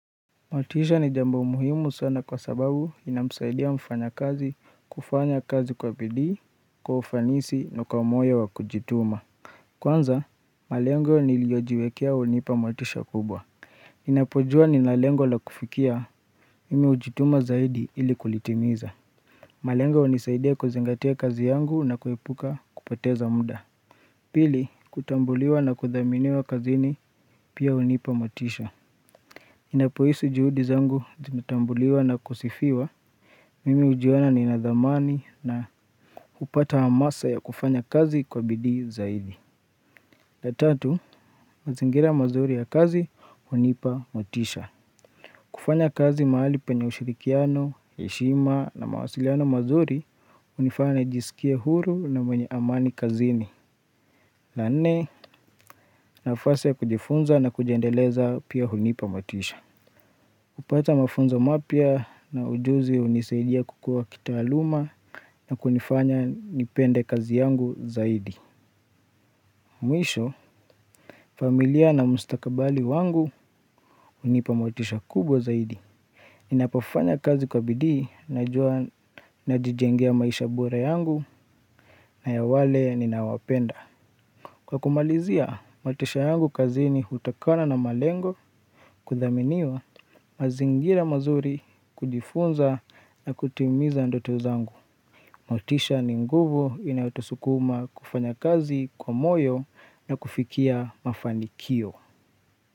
Matisha ni jambo muhimu sana kwa sababu inamsaidia mfanyakazi kufanya kazi kwa bidii kwa ufanisi na kwa moyo wa kujituma Kwanza malengo niliyojiwekea hunipa motisha kubwa ninapojua ninalengo la kufikia mimi hujituma zaidi ili kulitimiza malengo hunisaidia kuzingatia kazi yangu na kuipuka kupoteza muda Pili kutambuliwa na kudhaminiwa kazini pia hunipa motisha ninapohisi juhudi zangu zinatambuliwa na kusifiwa, mimi hujiona ninadhamani na hupata hamasa ya kufanya kazi kwa bidii zaidi. La tatu, mazingira mazuri ya kazi, hunipa motisha. Kufanya kazi mahali panye hushirikiano, heshima na mawasiliano mazuri, hunifanya najisikia huru na mwenye amani kazini. La nne, nafasi ya kujifunza na kujiendeleza pia hunipa motisha. Kupata mafunzo mapya na ujuzi unisaidia kukua kitaaluma na kunifanya nipende kazi yangu zaidi. Mwisho, familia na mustakabali wangu unipamotisha kubwa zaidi. Ninapofanya kazi kwa bidii najua najijengea maisha bora yangu na ya wale ninawapenda. Kwa kumalizia, motisha yangu kazini hutokana na malengo kudhaminiwa mazingira mazuri kujifunza na kutimiza ndoto zangu. Motisha ni nguvu inayotosukuma kufanya kazi kwa moyo na kufikia mafanikio.